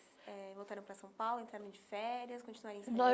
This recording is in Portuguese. eh voltaram para São Paulo, entraram de férias, continuaram ensaiando?